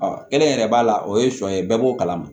Ɔ kelen yɛrɛ b'a la o ye sɔn ye bɛɛ b'o kalama